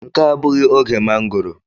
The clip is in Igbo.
Nke a abụghị oge mangọrọ.